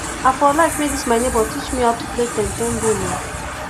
i for like make dis my nebor teach me how to play ten ten game o